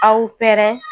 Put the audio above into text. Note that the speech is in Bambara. Aw pɛrɛn